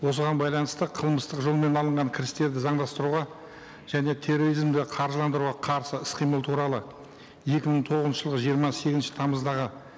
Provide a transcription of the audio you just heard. осыған байланысты қылмыстық жолмен алынған кірістерді заңдастыруға және терроризмді қаржыландыруға қарсы іс қимыл туралы екі мың тоғызыншы жылғы жиырма сегізінші тамыздағы